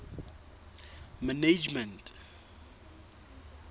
management